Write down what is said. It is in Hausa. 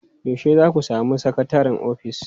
Yaushe za ku sami sakataren ofis?